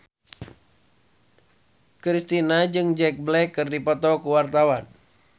Kristina jeung Jack Black keur dipoto ku wartawan